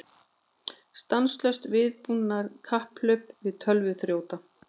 Stanslaust vígbúnaðarkapphlaup við tölvuþrjóta